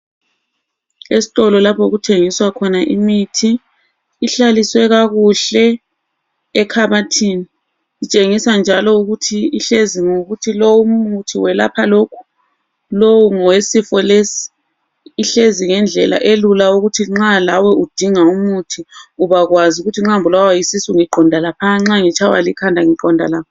Esitolo lapho okuthengiswa khona imithi ihlaliswe kakuhle ekhabathini. Itshengisa njalo ukuthi ihlezi ngokuthi lowu muthi welapha lokhu, lowu ngowesifo lesi. Ihlezi ngendlela elula ukuthi nxa lawe udinga umuthi ubakwazi ukuthi nxa ngibulawa yisisu ngiqinda laphana, nxa utshaywa likhanda uqonda nga.